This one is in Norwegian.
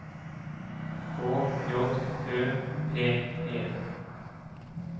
K J Ø P E